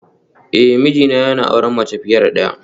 Eh mijina yana auren mace fiye da daya